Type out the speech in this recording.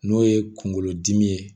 N'o ye kungolodimi ye